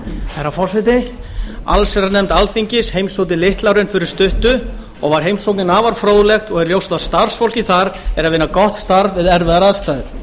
herra forseta allsherjarnefnd alþingis heimsótti litla hraun fyrir stuttu og var heimsóknin afar fróðleg og er ljóst að starfsfólkið þar er að vinna gott starf við erfiðar aðstæður